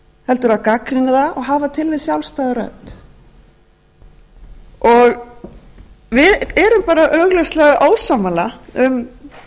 heldur að gagnrýna það og hafa til þess sjálfstæða rödd við erum bara augljóslega ósammála um